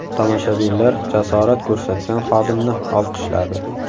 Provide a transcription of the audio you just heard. Tomoshabinlar jasorat ko‘rsatgan xodimni olqishladi.